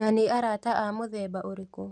Na nĩ arata a mũthemba ũrĩkũ?